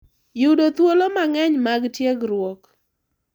Yudo thuolo mang’eny mag tiegruok